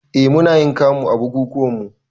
Eh munayin kamu a bukukuwanmu